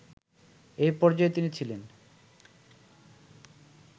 এই পর্যায়ে তিনি ছিলেন